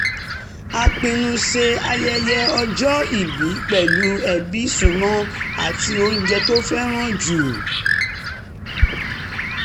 a pinnu ṣe ayẹyẹ ọjọ́ ìbí pẹ̀lú ẹbí súnmọ́ àti oúnjẹ tó fẹ́ràn jù